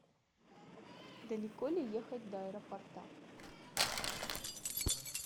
далеко ли ехать до аэропорта